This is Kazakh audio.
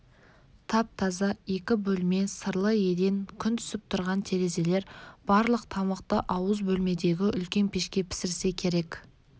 тап-таза екі бөлме сырлы еден күн түсіп тұрған терезелер барлық тамақты ауыз бөлмедегі үлкен пешке пісірсе керек